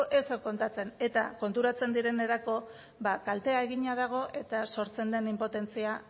ezer kontatzen eta konturatzen direnerako ba kaltea egina dago eta sortzen den inpotentzia